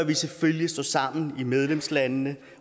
vi selvfølgelig stå sammen i medlemslandene